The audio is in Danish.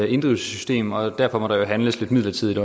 inddrivelsessystem og derfor må der jo også handles lidt midlertidigt